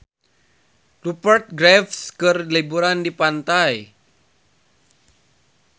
Rupert Graves keur liburan di pantai